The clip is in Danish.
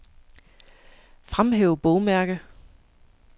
Fremhæv bogmærke.